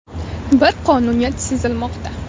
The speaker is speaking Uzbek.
Bir qonuniyat sezilmoqda.